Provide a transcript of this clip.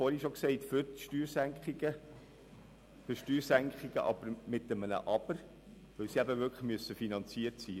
Wir sind, wie ich bereits erwähnt habe, für Steuersenkungen, aber unter dem Vorbehalt, dass sie finanziert sind.